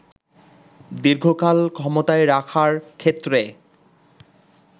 দীর্ঘকাল ক্ষমতায় রাখার ক্ষেত্রে